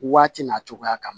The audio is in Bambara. Waati n'a cogoya kama